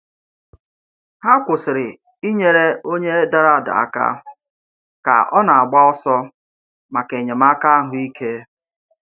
Ha kwụsịrị inyere onye dara ada aka ka ọ na-agba ọsọ maka enyemaka ahụike.